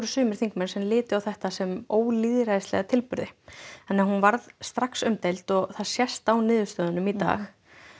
sumir þingmenn litu á þetta sem ólýðræðislega tilburði þannig að hún varð strax umdeild og það sést á niðurstöðunum í dag